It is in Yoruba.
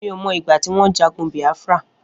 Mi ó mọ igbà tiwọn jàgùn Biafra